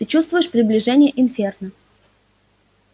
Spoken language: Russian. ты чувствуешь приближение инферно